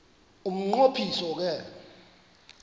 umnqo phiso ke